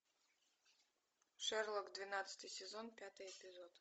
шерлок двенадцатый сезон пятый эпизод